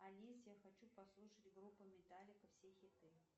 алис я хочу послушать группу металлика все хиты